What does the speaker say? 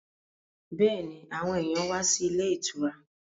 Bẹ́ẹ̀ni, àwọn èyàn wá sí ilé ìtura.